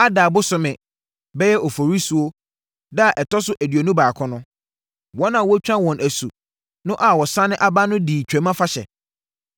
Adar bosome (bɛyɛ Oforisuo) da a ɛtɔ so aduonu baako no, wɔn a wɔatwa wɔn asu no a wɔasane aba no dii Twam Afahyɛ.